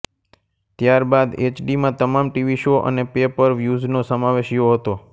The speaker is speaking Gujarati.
ત્યાર બાદ એચડીમાં તમામ ટીવી શો અને પે પર વ્યૂઝનો સમાવેશ યો હતો